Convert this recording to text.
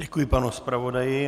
Děkuji panu zpravodaji.